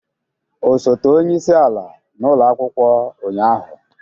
Osote onye isi ala n'ụlọ akwụkwọ ụnyaahụ?